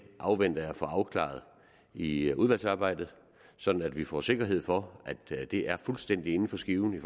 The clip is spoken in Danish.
afventer jeg at få afklaret i udvalgsarbejdet sådan at vi får sikkerhed for at det er fuldstændig inden for skiven i